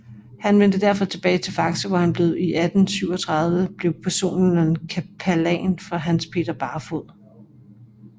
Han vendte derefter tilbage til Faxe hvor han blev i 1837 blev personel kapellan for Hans Peter Barfod